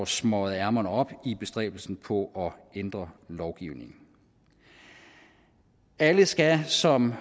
smøget ærmerne op i bestræbelsen på at ændre lovgivningen alle skal som